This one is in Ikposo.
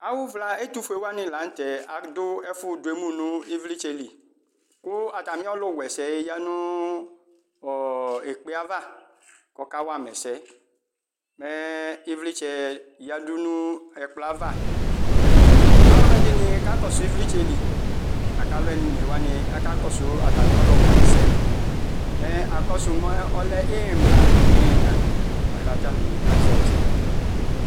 Awuvla ɛtufue wani lanutɛ adu ɛfu demu 'u ivlitsɛli Ku atamiɔlu wɛsɛ ya nu ekpeayava kɔkawama ɛsɛ Ivlitsɛ yadu nu ɛkplɔava Aluɛdini akakɔsu ivlitsɛli aku alu onewani akakɔsu ɔlu wɛsɛ Mɛ akɔsu azati imla nu iyina